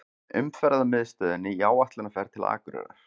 Umferðarmiðstöðinni í áætlunarferð til Akureyrar.